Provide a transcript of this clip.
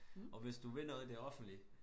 Og hvis du vil noget i det offentlige